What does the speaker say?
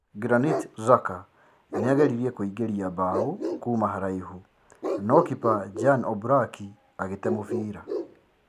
Granit xhaka nĩageririe kũingĩria mbaũ kuma haraihu no kipa Jan oblak agĩte mũbira